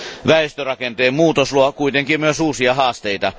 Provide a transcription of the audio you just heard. Väestörakenteen muutos luo kuitenkin myös uusia haasteita.